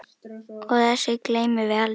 Og þessu gleymum við aldrei.